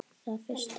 Það fyrsta.